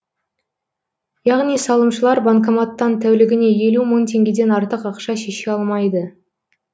яғни салымшылар банкоматтан тәулігіне елу мың теңгеден артық ақша шеше алмайды